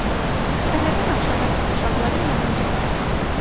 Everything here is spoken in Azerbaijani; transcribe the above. Səhərdən axşama kimi uşaqların yanınca gəzərdi.